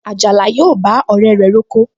Àjàlá yóò bá ọ̀rẹ́ rẹ̀ roko